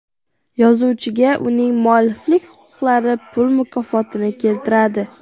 Yozuvchiga uning mualliflik huquqlari pul mukofotini keltiradi”.